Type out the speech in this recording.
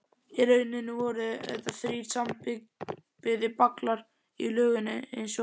Í rauninni voru þetta þrír sambyggðir braggar í lögun einsog